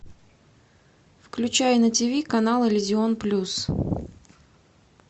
включай на тв канал иллюзион плюс